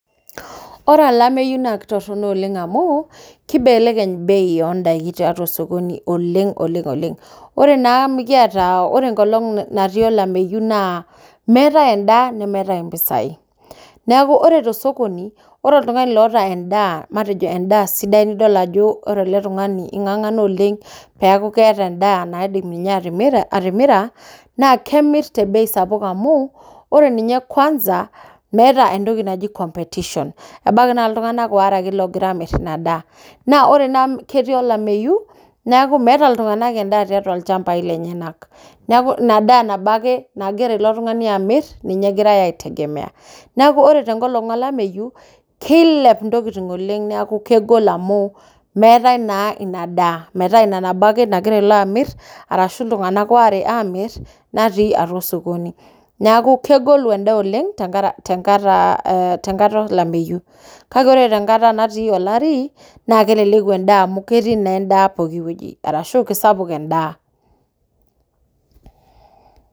Ore olameyu na kitorronok oleng amuu kibelekeny bei oo ndaiki tiatua sokoni oleng oleng. ore naa amu kiaata, ore onkolong naatii olameyu naa meeta endaa nemeetae mpisai neeku ore te sokoni ore oltung'ani oota endaa matejo endaa sidai nidol ajo ore ele tung'ani ing'ang'ana oleng metaa keeta endaa naaidim atimira, naa kemirr too mpisai kumok amuu ore ninye kwasa naa meeta entoki naaji competition .ebaiki naa ltung'anak waare loogira aamirr ina daa, naa ore naa amuu ketii olameyu, neeku meeta iltung'ana endaa too lchambai neeku inadaa nagira ilo tung'ani amirr egirae aaitegemeya. Neeku ore te nkolong olameyu, kilep intokitin oleng amu meetae naa ina daa metaa ina nabo ake nagira ilo amirr ashuu lelo aamirr natii osokoni. Neeku kegolu endaa oleng te nkata olameyu. Kake ore te nkata natii olari naa keleleku endaa amuu ketii naa endaa pooki wueji arashuu kisapuk endaa.